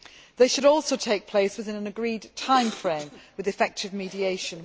They should also take place within an agreed timeframe with effective mediation.